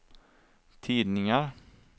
tidningar